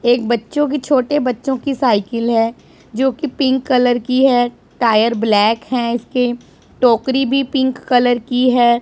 एक बच्चों की छोटे बच्चों की साइकिल है जो की पिंक कलर की है टायर ब्लैक है इसके टोकरी भी पिंक कलर की है।